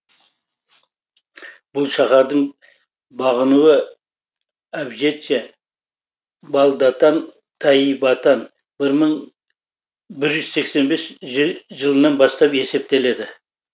бұл шаһардың бағынуы әбжетше балдатан тайибатан бір жүз сексен бесінші жылынан бастап есептеледі